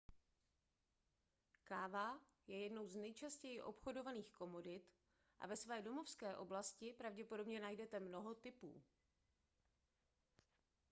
káva je jednou z nejčastěji obchodovaných komodit a ve své domovské oblasti pravděpodobně najdete mnoho typů